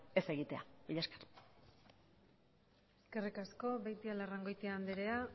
ez egitea mila esker eskerrik asko beitialarrangoitia andrea